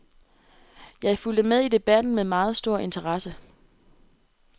Jeg fulgte med i debatten med meget stor interesse.